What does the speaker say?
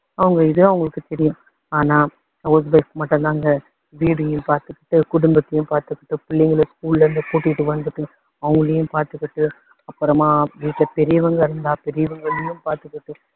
அவங்க இது அவங்களுக்கு தெரியும். ஆனா house wife க்கு மட்டுந்தாங்க வீடையும் பாத்துக்கிட்டு குடும்பத்தையும் பாத்துக்கிட்டு பிள்ளைங்களை school ல இருந்து கூட்டிட்டி வந்துட்டு அவங்களையும் பாத்துக்கிட்டு அப்பறமா வீட்டுல பெரியவங்க இருந்தா பெரியவங்களையும் பாத்துக்கிட்டு